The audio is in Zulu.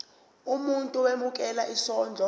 umuntu owemukela isondlo